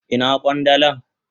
Ina kwandalan?